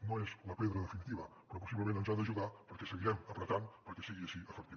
no és la pedra definitiva però possiblement ens ha d’ajudar perquè seguirem pressionant perquè sigui així d’efectiu